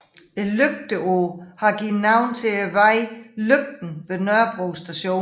Lygteåen har givet navn til vejen Lygten ved Nørrebro Station